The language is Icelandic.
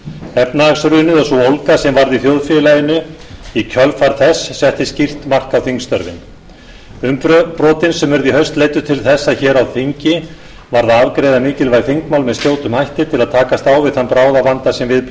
efnahagshrunið og sú ólga sem varð í þjóðfélaginu í kjölfar þess setti skýrt mark á þingstörfin umbrotin sem urðu í haust leiddu til þess að hér á þingi varð að afgreiða mikilvæg þingmál með skjótum hætti til að takast á við þann bráðavanda sem við blasti